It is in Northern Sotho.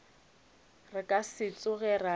re ka se tsoge ra